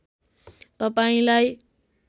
तपाईँलाई